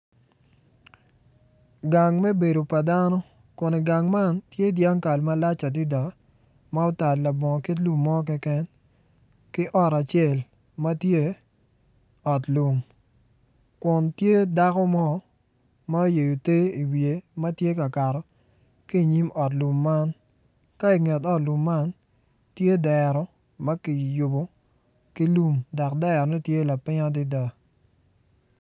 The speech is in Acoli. Gang me bedo pa dano kun igang man tye dyangkal malac adada ma otal labongo kit lum mo keken ki ot acel ma tye ot lum kun tye dako mo ma oyeyo te iwiye ma tye ka kato ki iniym ot lum man ka inyim ot lum man tye dero ma kiyubo ki lum dok derone tye lapiny adada.